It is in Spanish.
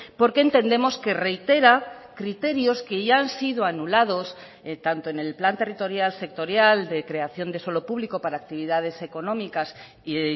porque entendemos que reitera criterios que ya han sido anulados tanto en el plan territorial sectorial de creación de suelo público para actividades económicas y